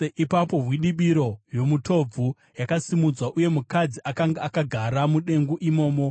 Ipapo hwidibiro yomutobvu yakasimudzwa, uye mukadzi akanga akagara mudengu imomo!